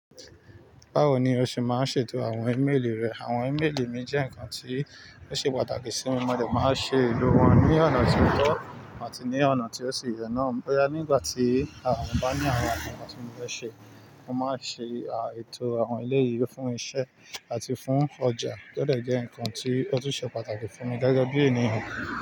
Báwo ni o ṣe máa ń ṣètò àwọn ímélì rẹ? Àwọn ímélì mi jẹ́ ǹnkan tí ó ṣe pàtàkì sí mi. Mo dẹ̀ máa ń ṣe ìlò wọn ní ọ̀nà tí ó tọ́ àti ní ọ̀nà tí ó ṣe ye na. Boya nígbà tí mo bá ní àwọn ǹkan tí mo fẹ́ ṣe, mo máa ń ṣe ètò àwọn eleyi fún iṣẹ́ àti fún ọjà. Ó dẹ̀ jẹ́ ǹkan tí ó tún ṣe pàtàkì fún mi gẹ́gẹ́ bí ènìyàn.